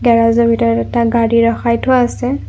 Garage ৰ ভিতৰত এটা গাড়ী ৰখাই থোৱা আছে।